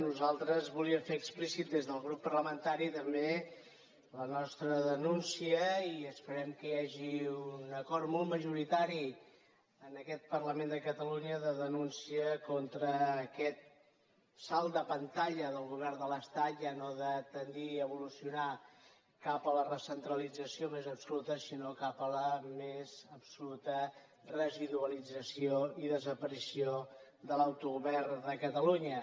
nosaltres volíem fer explícita des del grup parlamentari també la nostra denúncia i esperem que hi hagi un acord molt majoritari en aquest parlament de catalunya de denúncia contra aquest salt de pantalla del govern de l’estat ja no de tendir a evolucionar cap a la recentralització més absoluta sinó cap a la més absoluta residualització i desaparició de l’autogovern de catalunya